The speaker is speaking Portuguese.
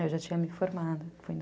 Eu já tinha me formado